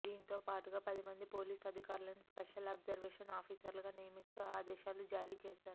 దీంతో పాటుగా పది మంది పోలీస్ అధికారులను స్పెషల్ అబ్జర్వేషన్ ఆఫీసర్లుగా నియమిస్తూ ఆదేశాలుజారీ చేశారు